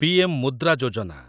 PM Mudra Yojana